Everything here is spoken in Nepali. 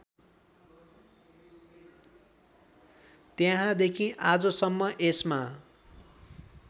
त्यहाँदेखि आजसम्म यसमा